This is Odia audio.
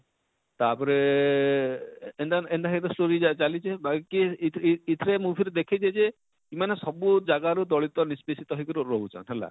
ତାପରେ ଆଃ ଏନତା ଏନତା ହେଇ କରି ସବୁ ଇଟା ଚାଲିଛେ ବାକି ଇଥ ଇଥିରେ movie ରେ ଦେଖେଇଛେ ଯେ ଇମାନେ ସବୁ ଜାଗାରୁ ଦଳିତ ନିଷ୍ପେସିତ ହେଇ ରହୁଛନ ହେଲା,